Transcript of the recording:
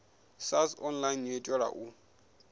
sars online yo itelwa u